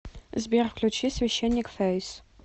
сбер включить священник фэйс